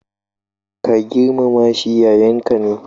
Ka girmama shi, yayanka ne.